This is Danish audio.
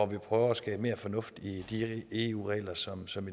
vi prøver at skabe mere fornuft i de eu regler som som